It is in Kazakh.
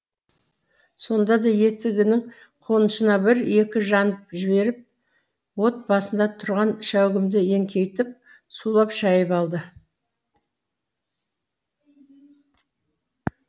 сонда да етігінің қонышына бір екі жанып жіберіп от басында тұрған шәугімді еңкейтіп сулап шайып алды